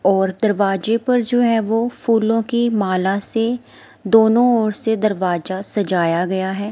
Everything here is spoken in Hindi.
और दरवाजे पर जो है वो फूलो की माला से दोनो ओर से दरवाजा सजाया गया है।